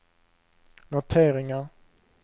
noteringar